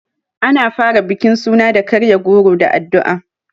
Ana fara bukin suna da karya goro da addu'a.